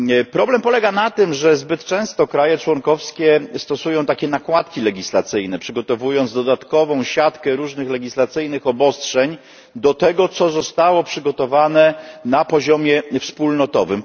Problem polega na tym, że zbyt często państwa członkowskie stosują swoiste nakładki legislacyjne, przygotowując dodatkową siatkę różnych legislacyjnych obostrzeń w stosunku do tego, co zostało przygotowane na poziomie wspólnotowym.